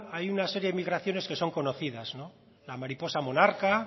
hay una seria de migraciones que son conocidas no la mariposa monarca